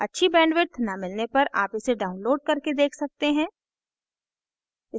अच्छी bandwidth न मिलने पर आप इसे download करके देख सकते हैं